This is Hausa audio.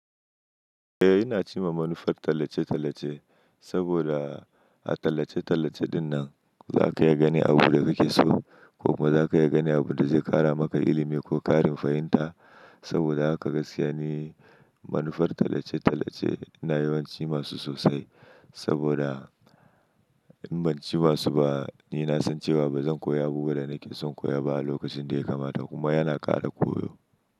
Eh, ina ci ma manufar tallace-tallace saboda a tallace-tallace dinnan za ka iya gani abunda kake so ko kuma za ka iya gani abunda zai ƙara maka ilimi ko ƙarin fahimta saboda haka gaskiya ne manufar tallace-tallace na yawan ci masu sosai saboda in ban ci masu ba ni na san cewa bazan koya abunda nake son koya ba lokacin da ya kamata kuma yana ƙara koyo.